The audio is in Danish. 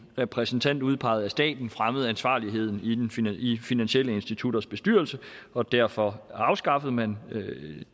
repræsentant udpeget af staten fremmede ansvarligheden i finansielle institutioners bestyrelser og derfor afskaffede man